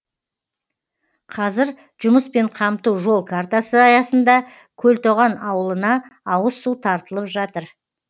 қазір жұмыспен қамту жол картасы аясында көлтоған ауылына ауыз су тартылып жатыр